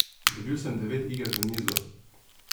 Dobil sem devet iger v nizu.